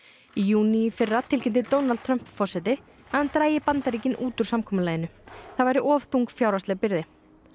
í júní í fyrra tilkynnti Donald Trump forseti að hann drægi Bandaríkin út úr samkomulaginu það væri of þung fjárhagsleg byrði